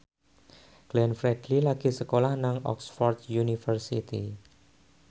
Glenn Fredly lagi sekolah nang Oxford university